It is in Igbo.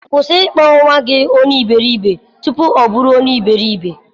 Kwụsị ịkpọ nwa gị onye iberibe, tupu ọ oburu onye iberibe.